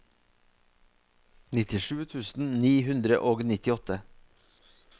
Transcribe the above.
nittisju tusen ni hundre og nittiåtte